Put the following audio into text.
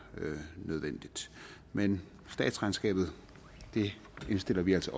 nødvendigt men statsregnskabet indstiller vi altså